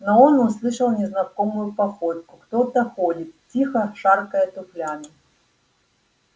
но он услышал незнакомую походку кто-то ходит тихо шаркая туфлями